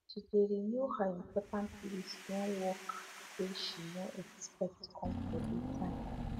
she de renew her important list when work wey she no expect come for dey time